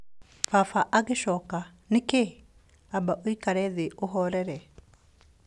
Baba agĩcokia, "Nĩ kĩĩ? Amba ũikare thĩ na ũhoorere."